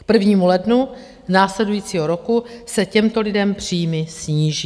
K 1. lednu následujícího roku se těmto lidem příjmy sníží.